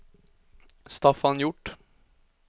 Staffan Hjort